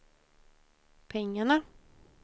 pengarna